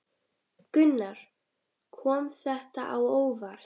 Gunnar: Kom þetta á óvart?